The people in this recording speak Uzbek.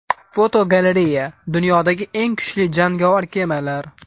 Fotogalereya: Dunyodagi eng kuchli jangovar kemalar.